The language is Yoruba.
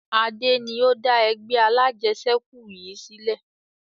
Adé ni ó dá ẹgbẹ́ alajẹsẹ́kù yìí sílẹ̀